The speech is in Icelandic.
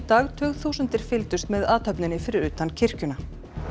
dag tugþúsundir fylgdust með athöfninni fyrir utan kirkjuna